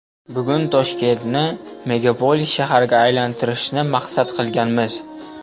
Bugun Toshkentni megapolis shaharga aylantirishni maqsad qilganmiz.